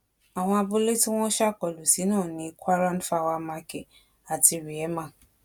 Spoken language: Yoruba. àwọn abúlé tí wọn ṣàkólú sí náà ni kuaràn fawa marké àti rihemá